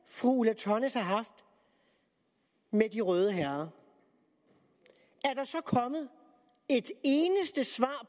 fru ulla tørnæs har haft med de røde herrer så kommet et eneste svar